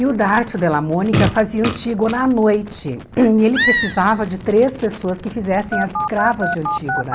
E o Dárcio Della Monica fazia Antígona à noite, hum e ele precisava de três pessoas que fizessem as escravas de Antígona.